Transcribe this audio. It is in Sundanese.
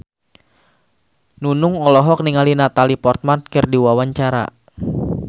Nunung olohok ningali Natalie Portman keur diwawancara